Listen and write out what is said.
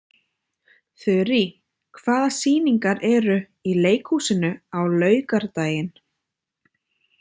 Þurí, hvaða sýningar eru í leikhúsinu á laugardaginn?